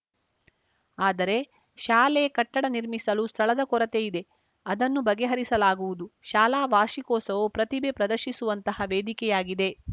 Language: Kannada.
ಆದರೆ ಶಾಲೆ ಕಟ್ಟಡ ನಿರ್ಮಿಸಲು ಸ್ಥಳದ ಕೊರತೆ ಇದೆ ಅದನ್ನು ಬಗೆ ಹರಿಸಲಾಗುವುದು ಶಾಲಾ ವಾರ್ಷಿಕೋತ್ಸವವು ಪ್ರತಿಭೆ ಪ್ರದರ್ಶಿಸುವಂತಹ ವೇದಿಕೆಯಾಗಿದೆ